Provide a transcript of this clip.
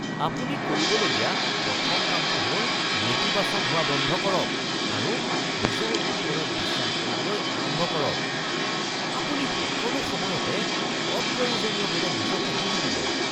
আপুনি কৰিবলগীয়া প্ৰথম কামটো হ’ল নেতিবাচক হোৱা বন্ধ কৰক আৰু নিজৰ ওপৰত বিশ্বাস কৰিবলৈ আৰম্ভ কৰক। আপুনি সকলো সময়তে অপ্ৰয়োজনীয়ভাৱে নিজকে দোষ দিয়ে।